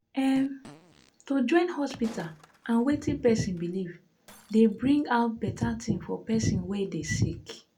em- to join hospita and wetin pesin belief dey bring out beta tin for pesin wey dey sick